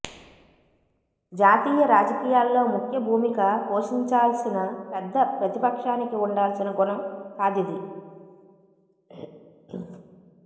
జాతీయ రాజకీయాల్లో ముఖ్య భూమిక పోషించాల్సిన పెద్ద ప్రతిపక్షానికి వుండాల్సిన గుణం కాదిది